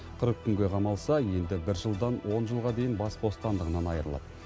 қырық күнге қамалса енді бір жылдан он жылға дейін бас бостандығынан айырылады